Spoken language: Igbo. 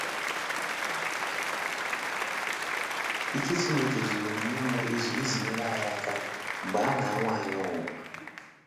Ike Chineke zuru nnọọ ezu iji nyere anyị aka mgbe a na - anwa anyị ọnwụnwa.